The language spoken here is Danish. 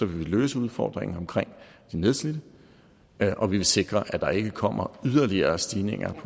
vil vi løse udfordringen omkring de nedslidte og vi vil sikre at der ikke kommer yderligere stigninger